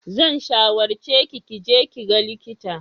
Zan shawarce ki ki je ki ga likita.